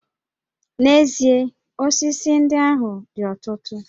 N'ezie, osisi ndị ahụ dị ọtụtụ